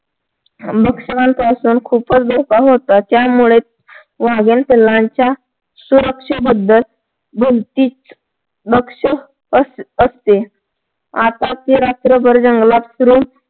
भक्षकांपासून खूपच धोका होता त्यामुळे वाघीण पिल्लांच्या सुरक्षेबद्दल भलतीच भक्षक असते आता रात्रभर जंगलात फिरून